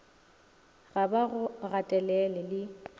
ga ba go gatelele le